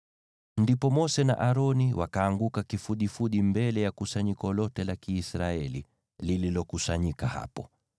Ndipo Mose na Aroni wakaanguka kifudifudi mbele ya kusanyiko lote la Kiisraeli lililokusanyika hapo.